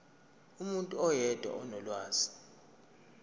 umuntu oyedwa onolwazi